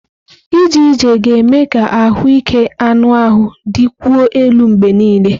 Ije ije ga-eme ka ahụike anụ ahụ dịkwuo elu mgbe niile.